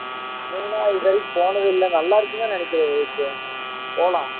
மூணார் இது வரைக்கும் போனது இல்ல நல்லா இருக்குன்னு தான் நினைக்கிறேன் விவேக்கு போலாம்